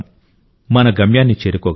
మన గమ్యాన్ని చేరుకోగలం